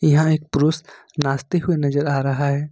यहां एक पुरुष नाचते हुए नजर आ रहा है।